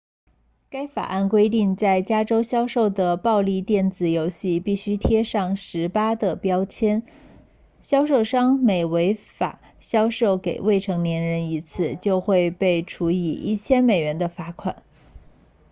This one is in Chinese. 该法案规定在加州销售的暴力电子游戏必须贴上18的标签销售商每违法销售给未成年人一次就会被处以1000美元的罚款